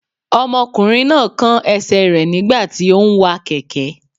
Ọmọkùnrin náà kán ẹsẹ̀ rẹ̀ nígbà tí óún wa kẹ̀kẹ́